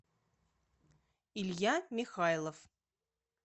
илья михайлов